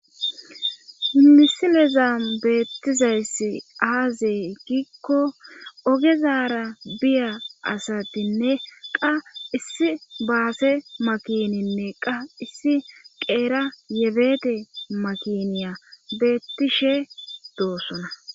misileza beettizayss aazey giikko ogezaara biya asatinne qa issi baase makininne qa issi qeera yebete makiniya beettishe doossona